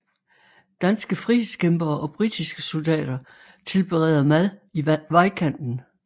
Danske frihedskæmpere og britiske soldater tilbereder mad i vejkanten